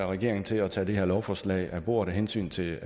regeringen til at tage det her lovforslag af bordet af hensyn til